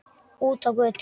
Út á götu.